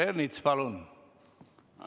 Peeter Ernits, palun!